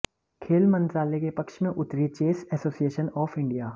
खेल मंत्रालय के पक्ष में उतरी चेस एसोसिएशन ऑफ इंडिया